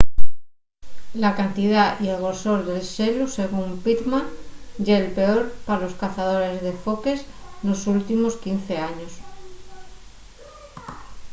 la cantidá y el grosor del xelu según pittman ye’l peor pa los cazadores de foques nos últimos 15 años